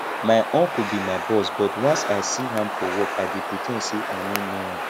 my uncle be my boss but once i see am for work i dey pre ten d say i no know am